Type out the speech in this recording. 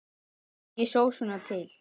Smakkið sósuna til.